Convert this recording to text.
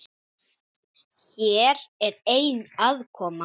Það er ekki eins.